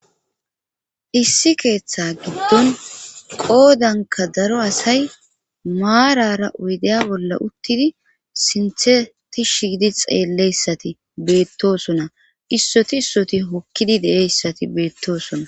issi keeththa giddon qoodanka daro asay maarara oydaya bolla uttidi sintheti shiidi xeelleyssati beettosona issoti issoti hokkidi de7eyssati beettoosona